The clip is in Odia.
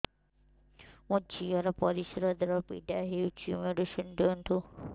ମୋ ଝିଅ ର ପରିସ୍ରା ଦ୍ଵାର ପୀଡା ହଉଚି ମେଡିସିନ ଦିଅନ୍ତୁ